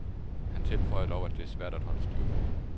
Han tilføjer dog, at det er svært at holde styr på.